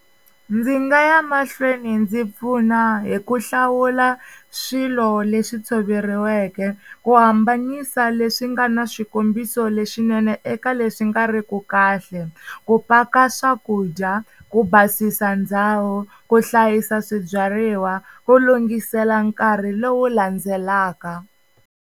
Ndzi nga ya mahlweni ndzi pfuna hi ku hlawula swilo leswi tshoveriweke ku hambanisa leswi nga ni swikombiso lexinene eka leswi nga ri ku kahle, ku paka swakudya, ku basisa ndhawu, ku hlayisa swibyariwa, ku lunghisela nkarhi lowu landzelaka.